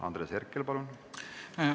Andres Herkel, palun!